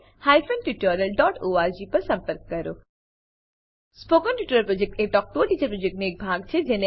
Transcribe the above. spoken tutorial project talk to a teacher પ્રોજેક્ટનો એક ભાગ છે